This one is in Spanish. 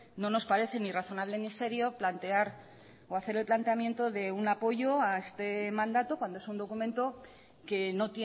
no nos parece ni razonable ni serio plantear o hacer el planteamiento de un apoyo a este mandato cuando es un documento que no